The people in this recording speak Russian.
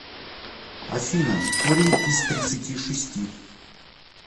афина корень из тридцати шести